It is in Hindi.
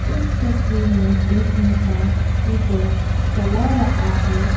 इस तस्वीर में एक इंसान स्कूटर चला रहा है।